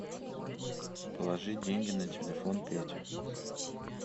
положи деньги на телефон пете